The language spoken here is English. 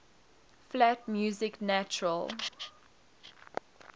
flat music natural